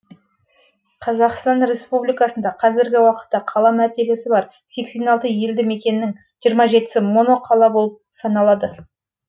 қазақстан республикасында қазіргі уақытта қала мәртебесі бар елді мекеннің сі моноқала болып санылады